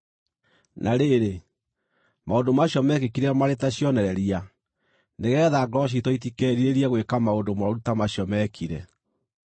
Na rĩrĩ, maũndũ macio meekĩkire marĩ ta cionereria, nĩgeetha ngoro ciitũ itikerirĩrie gwĩka maũndũ mooru ta macio meekire.